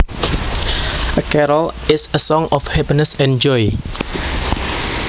A carol is a song of happiness and joy